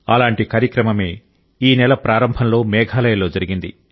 అలాంటి కార్యక్రమమే ఈ నెల ప్రారంభంలో మేఘాలయలో జరిగింది